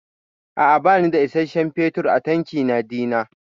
A'a bani da isasshen fetur a tankina dina.